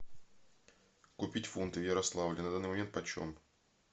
купить фунты в ярославле на данный момент почем